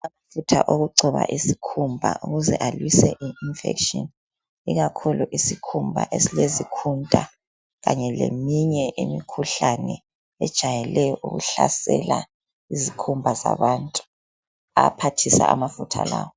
Amafutha okugcoba isikhumba, ukuze alwise infection. Ikakhulu isikhumba esilezikhunta. Kanye leminye imikhuhlane ejayele ukuhlasela izikhumba zabantu. Ayaphathisa amafutha lawa.